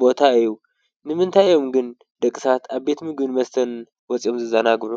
ቦታ እዩ። ንምንታይ እዮም ግን ደቂ ሰባት አብ ቤት ምግብን መስተን ወፂኦም ዝዘናግዑ?